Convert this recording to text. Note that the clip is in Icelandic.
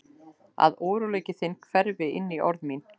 Að óróleiki þinn hverfi inní orð mín.